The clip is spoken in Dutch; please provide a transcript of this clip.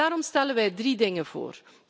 Daarom stellen wij drie dingen voor.